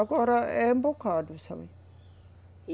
Agora é um bocado, sabe?